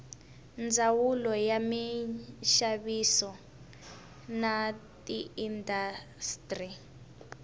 ndzawulo ya minxaviso na tiindastri